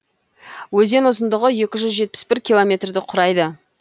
өзен ұзындығы екі жүз жетпіс бір километрді құрайды